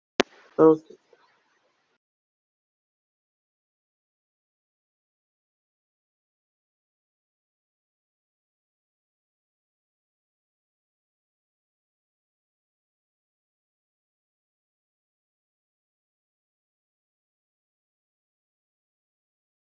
En er ekki gola í puntstrái allt sem ég þarf?